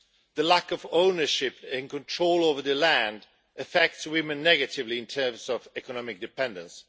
The lack of ownership and control over land affects women negatively in terms of economic dependence.